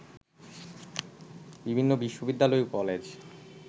বিভিন্ন বিশ্ববিদ্যালয় ও কলেজ